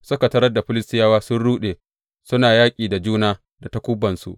Suka tarar Filistiyawa sun ruɗe suna yaƙi da juna da takubansu.